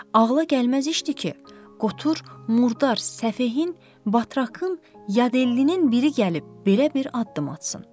Ağla gəlməz işdi ki, Qotur, Murdar, Səfehin, Batraqın, Yadellinin biri gəlib belə bir addım atsın.